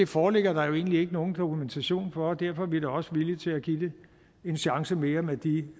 foreligger der jo egentlig ikke nogen dokumentation for og derfor er vi da også villige til at give det en chance mere med de